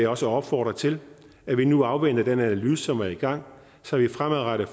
også opfordre til at vi nu afventer den analyse som er i gang så vi fremadrettet